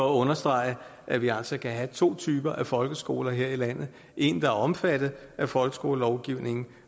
understrege at vi altså kan have to typer folkeskoler her i landet en der er omfattet af folkeskolelovgivningen